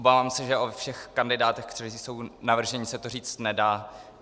Obávám se, že o všech kandidátech, kteří jsou navrženi, se to říct nedá.